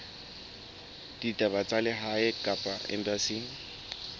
ditaba tsa lehae kapa embasing